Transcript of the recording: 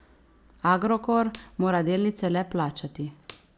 Agrokor mora delnice le plačati.